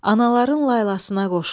Anaların laylasına qoşular.